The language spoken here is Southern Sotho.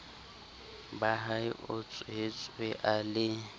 bahae o tswetswe a le